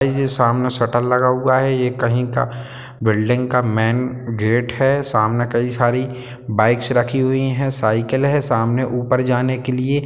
ये जो सामने शटर लगा हुआ है ये कहीं का बिल्डिंग का मैन गेट है सामने कई सारी बाइक्स रखी हुई है साइकिल है सामने ऊपर जाने के लिए --